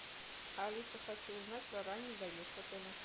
алиса хочу узнать про ранний заезд в отеле